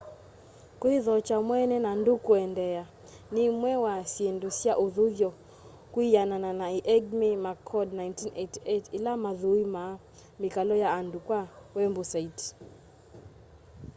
kwithokya mweene” na ndúú kuendeea” ni imwe wa syindu sya uthuthyo kwianana na eighmey mccord 1988 ila mathuimaa mikalo ya andu kwa wembusaiti